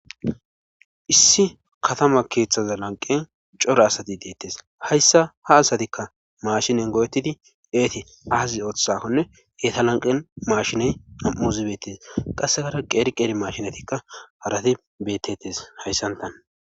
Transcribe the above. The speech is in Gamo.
Issi katama keethaza lanqqen cora asati deetes haysssa ha asatikka maashinen goo7ettidi eeti aazi othizaaknne eta lanqqen maashiney nam7uzi beetes qassikara qeeri qeeri maashinetikka harati beetes hayssanta.